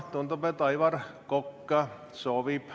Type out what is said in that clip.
Tundub, et Aivar Kokk soovib ...